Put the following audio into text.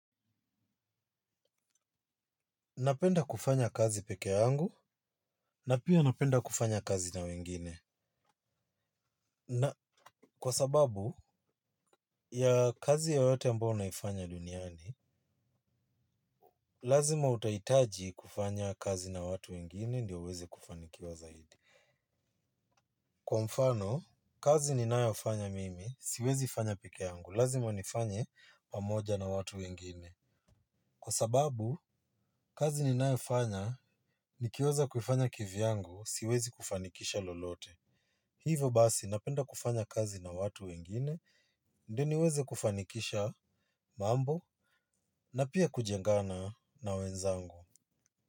Napenda kufanya kazi peke yangu, na pia napenda kufanya kazi na wengine. Na, kwa sababu, ya kazi yoyote ambao naifanya duniani, lazima utahitaji kufanya kazi na watu wengine ndio uweze kufanikiwa zaidi. Kwa mfano, kazi ninayo fanya mimi, siwezi fanya peke yangu, lazima nifanya pamoja na watu wengine. Kwa sababu, kazi ni nayo fanya, nikiweza kuifanya kivyangu, siwezi kufanikisha lolote. Hivo basi napenda kufanya kazi na watu wengine, ndio niweze kufanikisha mambo na pia kujengana na wenzangu.